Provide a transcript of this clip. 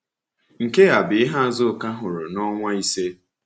Nke a bụ ihe Azụka hụrụ n’ọnwa ise.